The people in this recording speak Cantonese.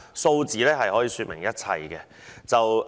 數字可以說明一切。